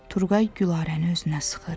Turqay Gülarəni özünə sıxır.